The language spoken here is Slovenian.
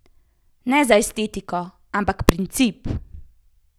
Ne za estetiko, ampak princip?